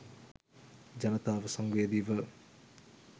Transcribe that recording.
ජනතාව සංවේදීව